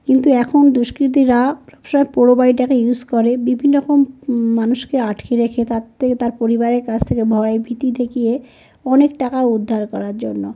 কিন্তু এখন দুষ্কৃতীরা প্র সব পুরো বাড়িটাকে ইউজ করে। বিভিন্ন রকম উম মানুষকে আটকে রেখে তার থেকে তার পরিবারের কাছ থেকে ভয় ভীতি দেখিয়ে অনেক টাকা উদ্ধার করার জন্য ।